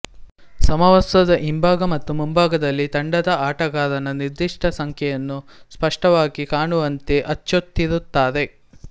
ಸಮವಸ್ತ್ರದ ಹಿಂಭಾಗ ಮತ್ತು ಮುಂಭಾಗದಲ್ಲಿ ತಂಡದ ಆಟಗಾರನ ನಿರ್ದಿಷ್ಟ ಸಂಖ್ಯೆಯನ್ನು ಸ್ಪಷ್ಟವಾಗಿ ಕಾಣುವಂತೆ ಅಚ್ಚೊತ್ತಿರುತ್ತಾರೆ